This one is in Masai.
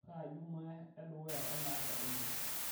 kaa jumaa edukuya elde apa olotu